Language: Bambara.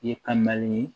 Ye ka na ni ye